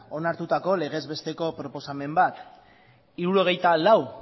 onartutako legez besteko proposamen bat hirurogeita lau